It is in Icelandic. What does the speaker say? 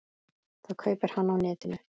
Það kaupi hann á netinu.